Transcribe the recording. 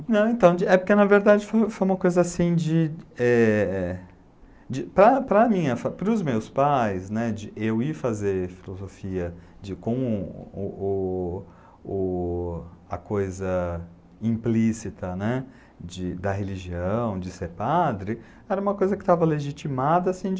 É então, é porque, na verdade, foi uma coisa assim de é... Para os meus pais, eu ir fazer filosofia com a coisa implícita, né, da religião, de ser padre, era uma coisa que estava legitimada assim de...